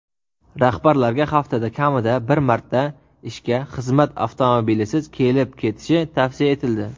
Rahbarlarga haftada kamida bir marta ishga xizmat avtomobilisiz kelib-ketishi tavsiya etildi.